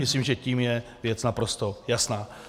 Myslím, že tím je věc naprosto jasná.